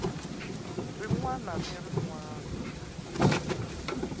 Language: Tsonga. rin wana na rin wana